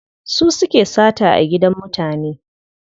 Su suke sata a gidan mutane.